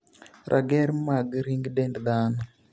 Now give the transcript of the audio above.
rager mag ring dend dhano